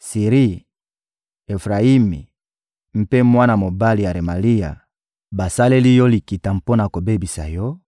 Siri, Efrayimi mpe mwana mobali ya Remalia, basaleli yo likita mpo na kobebisa yo;